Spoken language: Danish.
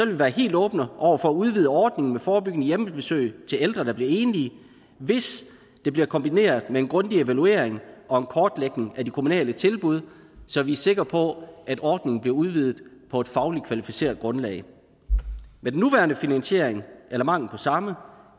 vi være helt åbne over for at udvide ordningen med forebyggende hjemmebesøg til ældre der bliver enlige hvis det bliver kombineret med en grundig evaluering og en kortlægning af de kommunale tilbud så vi er sikre på at ordningen bliver udvidet på et fagligt kvalificeret grundlag med den nuværende finansiering eller mangel på samme